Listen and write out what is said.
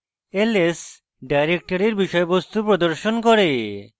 ls directory বিষয়বস্তু প্রদর্শন করে